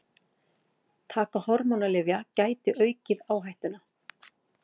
Taka hormónalyfja gæti aukið áhættuna.